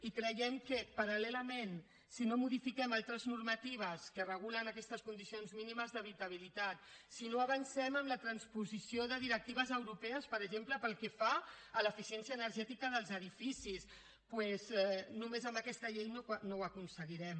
i creiem que paral·lelament si no modifiquem altres normatives que regulen aquestes condicions mínimes d’habitabilitat si no avancem en la transposició de directives europees per exemple pel que fa a l’eficiència energètica dels edificis doncs només amb aquesta llei no ho aconseguirem